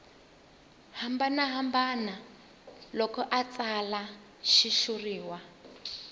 hambanahambana loko a tsala xitshuriwa